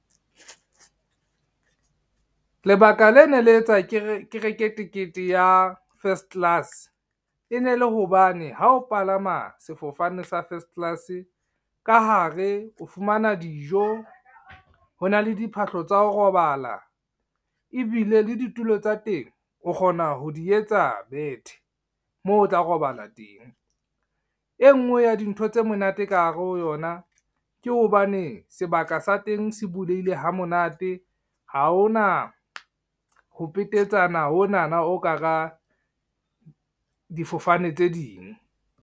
Lebaka lene le etsa ke reke tekete ya first class, e ne le hobane ha o palama sefofane sa first class, ka hare o fumana dijo, ho na le diphahlo tsa ho robala ebile le ditulo tsa teng o kgona ho di etsa bethe moo o tla robala teng. E ngwe ya dintho tse monate ka hare ho yona, ke hobane sebaka sa teng se buleile ha monate, ha hona ho petetsana honana ho ka hara difofane tse ding.